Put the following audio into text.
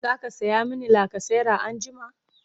zaka saya mini lacasera anjima?